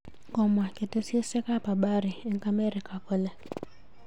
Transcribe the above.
Komwa ketesyosek ab habari eng amerika kole